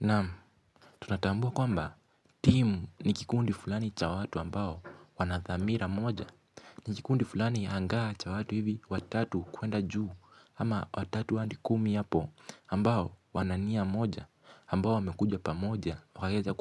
Naam tunatambua kwamba timu nikikundi fulani cha watu ambao wanathamira moja. Nikikundi fulani hangaa cha watu hivi watatu kuenda juu ama watatu andi kumi hapo ambao wanania moja ambao wamekujwa pa moja wakaeza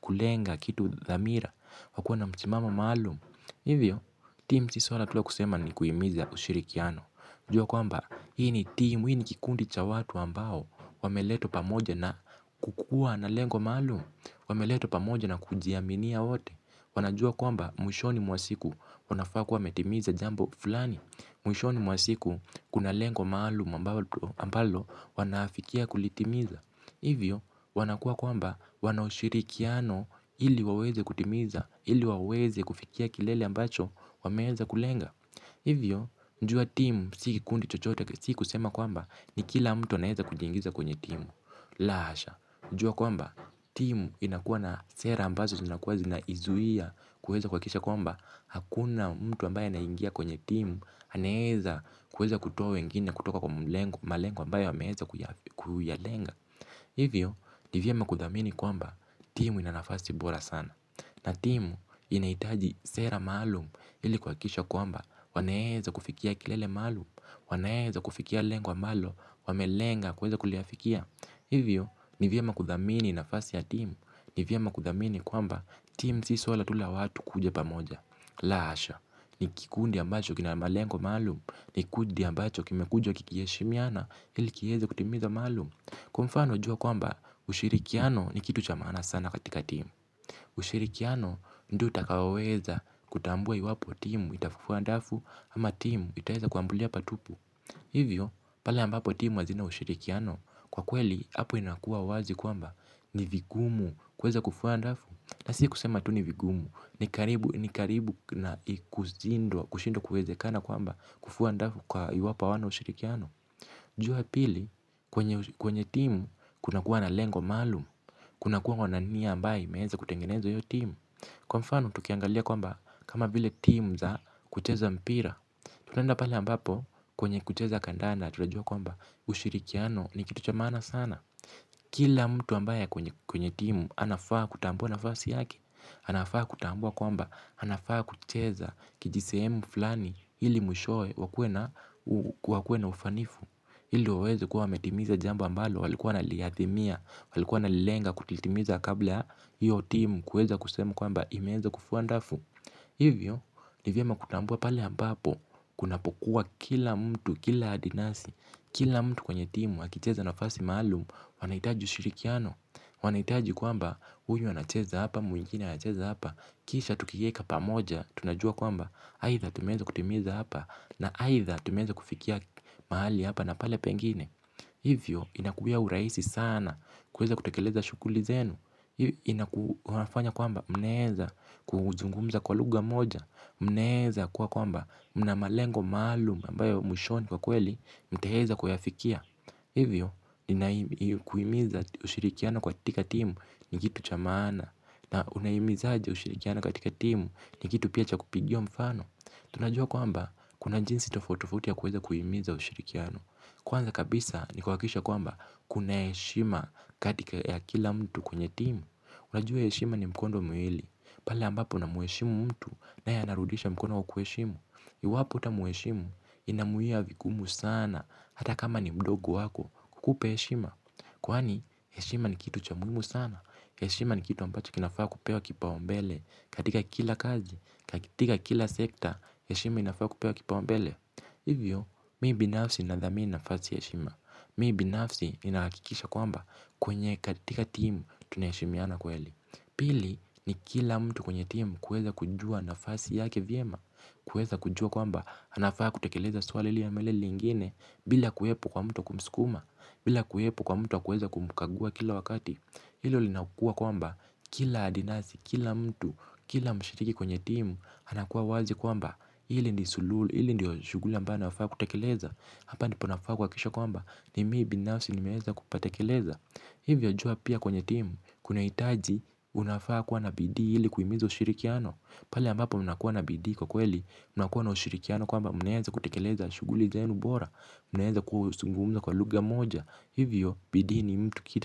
kulenga kitu thamira wakiwa na mchimamo maalumu. Hivyo timu chisuara tula kusema ni kuimiza ushirikiano jua kwamba, hii ni timu, hii ni kikundi cha watu ambao, wameletwa pamoja na kukua na lengo maalum, wameletwa pamoja na kujiaminia wote. Wanajua kwamba, mwishoni mwasiku wanafaa kuwa wametimiza jambo fulani, mwishoni mwasiku kunalengo maalum ambalo wanaafikia kulitimiza. Hivyo, wanakua kwamba, wanaushirikiano ili waweze kutimiza, ili waweze kufikia kilele ambacho, wameeza kulenga. Hivyo, njua timu siki kikundi chochote siku sema kwamba ni kila mtu anaeza kujingiza kwenye timu. Lasha, njua kwamba timu chisuara tula kusema ni kuimiza ushirikiano jua kwamba, hii ni timu, hii ni kikundi cha watu ambao, wameletwa pamoja na kukua na lengo maalum, wameletwa pamoja na kujiaminia wote. Hivyo ni vyema kuthamini kwamba timu ina nafasi bora sana na timu inahitaji sera maalum ili kuhakikisha kwamba wanaeza kufikia kilele maalum wanaeza kufikia lengo ambalo wamelenga kuliweza kuafikia. Hivyo, nivyema kuthamini na fasi ya timu, nivyema kuthamini kwamba timu si suala tula watu kuja pamoja. La asha, nikikundi ambacho kina malengo malum, nikundi ambacho kime kuja kikieshimiana ilikiheza kutimiza malum. Kwa mfano wajua kwamba, ushirikiano ni kitu chamana sana katika timu. Ushirikiano ndio utakaoweza kutambua iwapo timu itafufuwa ndafu ama timu itaeza kuambulia patupu. Hivyo pala ambapo timu hazina ushirikiano kwa kweli hapo inakua wazi kwamba ni vigumu kweza kufuwa ndafu na si kusema tu ni vigumu ni karibu na kushindwa kweze kana kwamba kufuwa ndafu kwa yu wapo wano ushirikiano. Jua pili kwenye timu kuna kuwa na lengo malumu. Kuna kuwa kwa naniya ambaye imeeza kutengeneza iyo timu kwa mfano tukiangalia kwamba kama vile timu za kucheza mpira. Tutaenda pale ambapo kwenye kucheza kandanda tunajua kwamba ushirikiano ni kitu chamana sana. Kila mtu ambaye kwenye timu anafaa kutambua na fasi yake. Anafaa kutambua kwamba anafaa kucheza kijise emu fulani hili mwishoe wakuwa na wakue na ufanifu ili waeze kuwa wametimiza jambu ambalo walikuwa naliyathimia, walikuwa nalilenga kutitimiza kabla hiyo timu kuweza kusema kwamba imeeza kufuandafu. Hivyo, nivyema kutambua pale ambapo, kunapokuwa kila mtu, kila adinasi, kila mtu kwenye timu, hakicheza nafasi maalumu, wanaitaji ushirikiano. Wanaitaji kwamba huyu anacheza hapa, mwingine anacheza hapa, kisha tukieka pa moja, tunajua kwamba haitha tumeza kutimiza hapa na haitha tumeza kufikia mahali hapa na pale pengine. Hivyo inakuya uraisi sana kweza kutakeleza shukuli zenu. Hivyo inakufanya kwamba mnaeza kuzungumza kwa lugha moja. Mnaeza kwa kwamba mnamalengo maluma mbayo mwishoni kwa kweli mteheza kwa yafikia. Hivyo inaimiza ushirikiana kwa tika timu ni kitu chamaana na unaimiza aje ushirikiana katika timu ni kitu pia chakupigiwa mfano. Tunajua kwamba kuna jinsi tofauti tofauti ya kuweza kuhimiza ushirikiano. Kwanza kabisa nikawakisha kwamba kuna eshima katika ya kila mtu kwenye timu. Unajua eshima ni mkondo muili. Pala ambapou na mueshimu mtu naye anarudisha mkono kwa kuheshimu. Iwapo uta mueshimu inamuia vikumu sana hata kama ni mdogo wako kukupa eshima kwani eshima ni kitu chamuimu sana. Yeshima ni kitu ambacho kinafaa kupewa kipaumbele katika kila kazi, katika kila sekta, yeshima inafaa kupewa kipaumbele. Hivyo, mii binafsi na dhamini nafasi yeshima. Mii binafsi inakikisha kwamba kwenye katika timu tunaheshimiana kweli. Pili ni kila mtu kwenye timu kueza kujua nafasi yake vyema. Kueza kujua kwamba, anafaa kutekeleza swalili ya meleli ingine. Bila kuhepo kwa mtu kumskuma, bila kuhepo kwa mtu kuhepo kumkagua kila wakati. Hilo li nakuwa kwamba kila adinasi, kila mtu, kila mshiriki kwenye timu. Hanakuwa wazi kwamba hili ndi sululu, hili ndio shuguli amba nafaa kutakeleza. Hapa ndipo nafaa kwa kisha kwamba ni mii binasi nimeeza kupatekeleza. Hivyo jua pia kwenye timu, kuna itaji unafaa kwa na BD hili kuimizo shirikiano. Pala ambapo unakuwa na bidii kwa kweli, unakuwa na shirikiano kwamba munaeza kutekeleza shuguli zenu bora, muneeza kusungumza kwa luga moja. Hivyo bidii ni mtu kita.